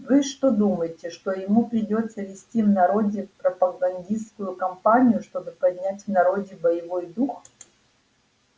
вы что думаете что ему придётся вести в народе пропагандистскую кампанию чтобы поднять в народе боевой дух